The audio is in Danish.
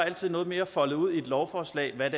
altid noget mere foldet ud i et lovforslag hvad